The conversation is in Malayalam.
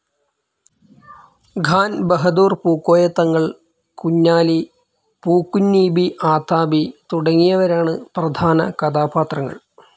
ഖാൻ ബഹദൂർ പൂക്കോയ തങ്ങൾ, കുഞ്ഞാലി, പൂക്കുഞ്ഞീബി ആതാബി തുടങ്ങിയവരാണ് പ്രധാന കഥാപാത്രങ്ങൾ.